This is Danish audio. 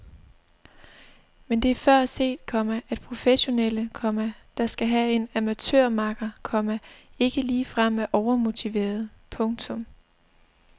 Men det er før set, komma at professionelle, komma der skal have en amatørmakker, komma ikke ligefrem er overmotiverede. punktum